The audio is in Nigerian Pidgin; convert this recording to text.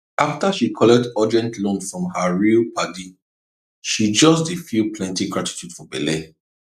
after she collect urgent loan from her real padi she just dey feel plenty gratitude for belle